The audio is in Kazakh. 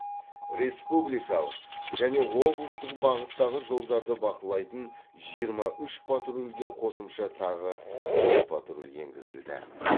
республикалық және облыстық бағыттағы жолдарды бақылайтын жиырма үш патрульге қосымша тағы бес патруль енгізілді